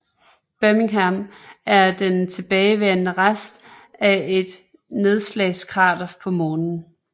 Birmingham er den tilbageværende rest af et nedslagskrater på Månen